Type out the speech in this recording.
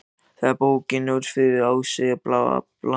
Þegar bókin Ófriður í aðsigi var skráð, virtist sem